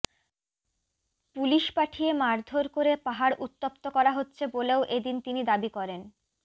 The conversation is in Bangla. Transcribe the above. পুলিশ পাঠিয়ে মারধোর করে পাহাড় উত্তপ্ত করা হচ্ছে বলেও এদিন তিনি দাবি করেন